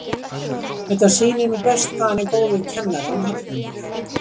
Þetta sýnir nú best hvað hann er góður kennari hann Hallmundur.